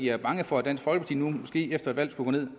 er bange for at dansk folkeparti måske efter et valg skulle